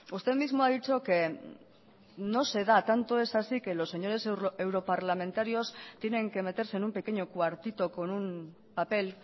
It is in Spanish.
usted mismo ha dicho que no se da tanto es así que los señores europarlamentarios tienen que meterse en un pequeño cuartito con un papel